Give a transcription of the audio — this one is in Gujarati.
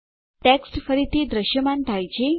ટેક્સ્ટ ફરીથી દૃશ્યમાન થાય છે